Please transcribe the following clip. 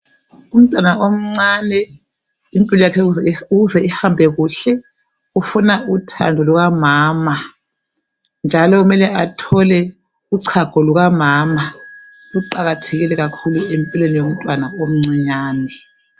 Umntwana omncane impilo yakhe ukuze ihambe kuhle ufuna uthando Luka mama. Njalo kumele athole uchago luka mama. Kuqakathekile kakhulu empilweni yomntwana omncane.